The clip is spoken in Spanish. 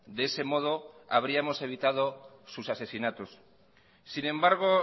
de ese modo habríamos evitado sus asesinatos sin embargo